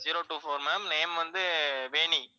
zero two four ma'am, name வந்து வேணி.